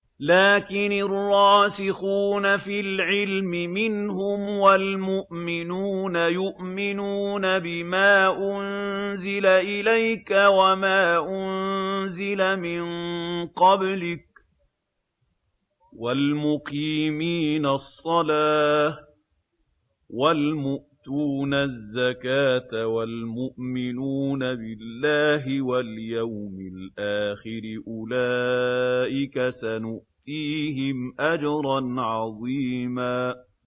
لَّٰكِنِ الرَّاسِخُونَ فِي الْعِلْمِ مِنْهُمْ وَالْمُؤْمِنُونَ يُؤْمِنُونَ بِمَا أُنزِلَ إِلَيْكَ وَمَا أُنزِلَ مِن قَبْلِكَ ۚ وَالْمُقِيمِينَ الصَّلَاةَ ۚ وَالْمُؤْتُونَ الزَّكَاةَ وَالْمُؤْمِنُونَ بِاللَّهِ وَالْيَوْمِ الْآخِرِ أُولَٰئِكَ سَنُؤْتِيهِمْ أَجْرًا عَظِيمًا